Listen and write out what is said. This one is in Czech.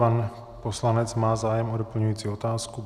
Pan poslanec má zájem o doplňující otázku.